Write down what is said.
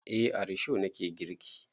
Eh a risho na ke girki.